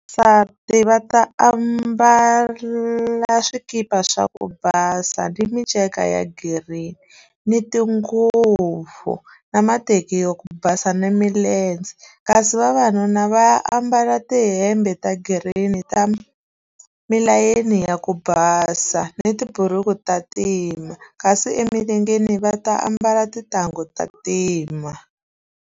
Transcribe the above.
va ambala swikipa swa ku basa ni minceka ya girini ni tinguva na mateki ya ku basa na kasi vavanuna va ambala tihembe ta green ta milayeni ya ku basa ni tiburuku ta ntima kasi emilengeni va ta ambala tintangu ta ntima.